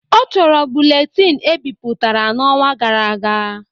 Ọ chọrọ buletin ebiputara na ọnwa gara aga